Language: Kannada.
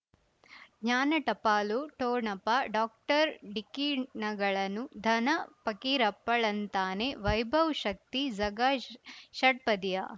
ಜ್ಞಾನ ಟಪಾಲು ಠೊಣಪ ಡಾಕ್ಟರ್ ಢಿಕ್ಕಿ ಣಗಳನು ಧನ ಫಕೀರಪ್ಪ ಳಂತಾನೆ ವೈಭವ್ ಶಕ್ತಿ ಝಗಾ ಷ್ ಷಟ್ಪದಿಯ